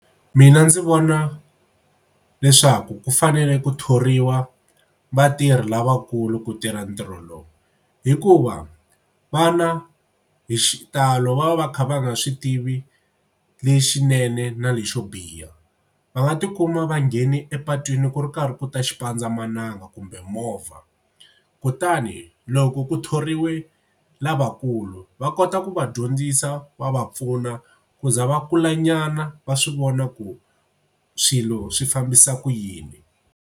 Mina ndzi vona leswaku ku fanele ku thoriwa vatirhi lavakulu ku tirha ntirho lowu hikuva vana hi xitalo va va va kha va nga swi tivi lexinene na lexo biha. Va nga tikuma va ngheni epatwini ku ri karhi ku ta xipandzamananga kumbe movha kutani loko ku thoriwe lavakulu va kota ku va dyondzisa va va pfuna ku za va kulanyana va swi vona ku swilo swi fambisa ku yini.